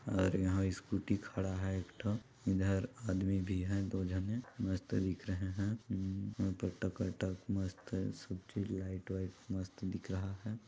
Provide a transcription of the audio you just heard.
और यहाँ स्कूटी खड़ा है एक ठो और इधर आदमी भी है दो झने मस्त दिख रहे है वहाँ पर टका टक मस्त लाइट वाईट मस्त दिख रहा--